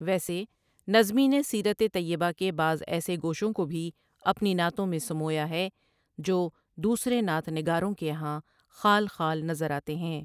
ویسے نظمی نے سیرتِ طیبہ کے بعض ایسے گوشوں کو بھی اپنی نعتوں میں سمویا ہے جو دوسرے نعت نگاروں کے یہاں خال خال نظر آتے ہیں ۔